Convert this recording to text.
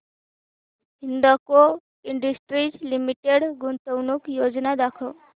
Hindalco industries limited गुंतवणूक योजना दाखव